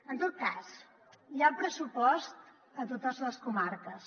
en tot cas hi ha pressupost a totes les comarques